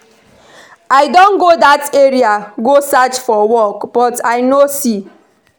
I don go dat area go search for work but I no see